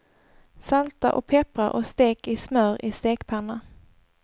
Salta och peppra och stek i smör i stekpanna.